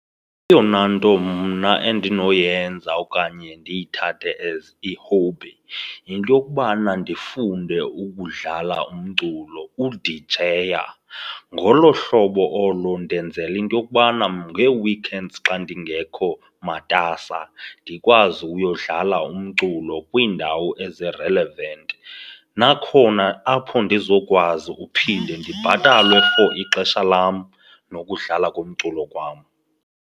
Eyona nto mna endinoyenza okanye ndiyithathe as i-hobby yinto yokubana ndifunde ukudlala umculo, udijeya. Ngolo hlobo olo ndenzela into yokubana ngee-weekends xa ndingekho matasa ndikwazi uyodlala umculo kwiindawo ezi-relevant. Nakhona apho ndizokwazi uphinde ndibhatalwe for ixesha lam nokudlala komculo kwam.